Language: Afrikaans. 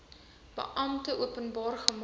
beampte openbaar gemaak